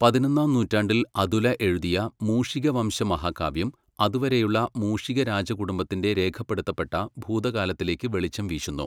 പതിനൊന്നാം നൂറ്റാണ്ടിൽ അതുല എഴുതിയ മൂഷികവംശമഹാകാവ്യം അതുവരെയുള്ള മൂഷികരാജകുടുംബത്തിൻ്റെ രേഖപ്പെടുത്തപ്പെട്ട ഭൂതകാലത്തിലേക്ക് വെളിച്ചം വീശുന്നു.